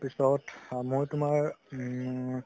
তাৰ পিছত মই তুমাৰ উমম....